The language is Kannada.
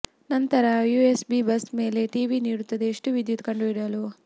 ನಂತರ ಯುಎಸ್ಬಿ ಬಸ್ ಮೇಲೆ ಟಿವಿ ನೀಡುತ್ತದೆ ಎಷ್ಟು ವಿದ್ಯುತ್ ಕಂಡುಹಿಡಿಯಲು